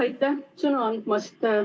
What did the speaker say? Aitäh sõna andmast!